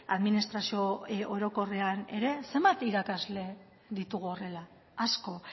administrazio orokorrean ere zenbat irakasle ditugu horrela asko